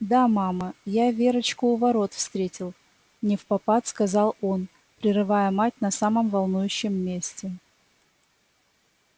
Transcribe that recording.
да мама я верочку у ворот встретил невпопад сказал он прерывая мать на самом волнующем месте